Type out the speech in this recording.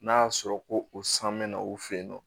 N'a y'a sɔrɔ ko o san mɛna o fe yen nɔ